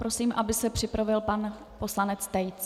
Prosím, aby se připravil pan poslanec Tejc.